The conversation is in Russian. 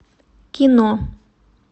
кино